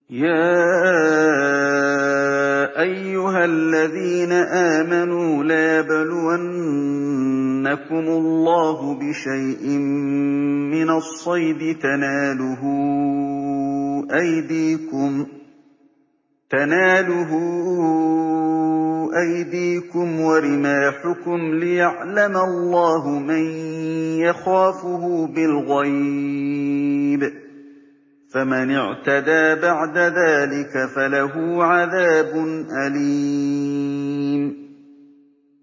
يَا أَيُّهَا الَّذِينَ آمَنُوا لَيَبْلُوَنَّكُمُ اللَّهُ بِشَيْءٍ مِّنَ الصَّيْدِ تَنَالُهُ أَيْدِيكُمْ وَرِمَاحُكُمْ لِيَعْلَمَ اللَّهُ مَن يَخَافُهُ بِالْغَيْبِ ۚ فَمَنِ اعْتَدَىٰ بَعْدَ ذَٰلِكَ فَلَهُ عَذَابٌ أَلِيمٌ